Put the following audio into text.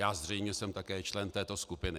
Já zřejmě jsem také člen této skupiny.